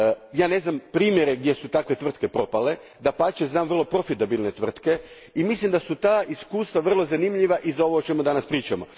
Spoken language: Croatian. Ja ne znam primjere gdje su takve tvrtke propale dapače, znam vrlo profitabilne tvrtke i mislim da su ta iskustva vrlo zanimljiva i za ovo o čemu danas pričamo.